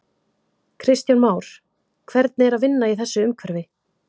Kristján Már: Hvernig er að vinna í þessu umhverfi?